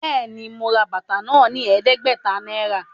Béèni, mo rà bàtà náà ní ẹdẹgbẹta náírà